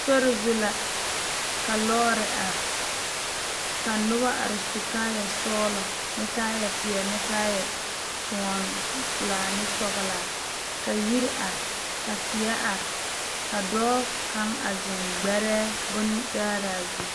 Sori zu la ka lɔɔre are ka noba are su kaayɛ sɔgelɔ kaayɛ peɛle ne kaayɛ kyoɔ pelaa ne sɔgelaa ka yiri are ka tie are ka dɔɔ kaŋ a zeŋ gbɛrɛɛ bontaaraa zu